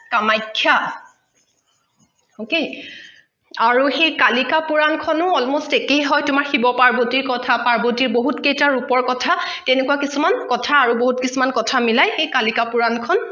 Kamakhya okay আৰু সেই কালিকা পূৰণ খনো almost একেই হয় তোমাৰ শিৱ পাৰ্বতীৰ কথা পাৰ্বতীৰ বহুত কেইতা ৰুপৰ কথা তেনেকুৱা কিছুমান কথা আৰু বহুত কিছুমান কথা মিলাই সেই সেই কালিকা পূৰণ খন